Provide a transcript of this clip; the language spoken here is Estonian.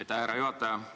Aitäh, härra juhataja!